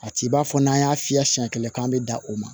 A t'i b'a fɔ n'an y'a fiyɛ siɲɛ kelen k'an bɛ da o ma